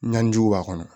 Ɲanjiw b'a kɔnɔ